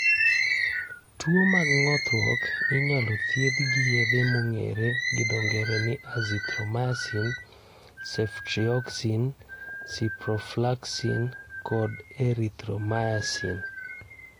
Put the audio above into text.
Tuwo mag ng'othruok inyalo thiedhi gi yedhe mong'ere gi dho ng'ere ni azithromycin, ceftriaxone, ciprofloxacin, kod erythromycin.